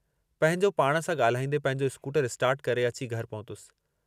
पंहिंजो पाण सां ॻाल्हाईंदे पंहिंजो स्कूटर स्टार्ट करे अची घरु पहुतुसि।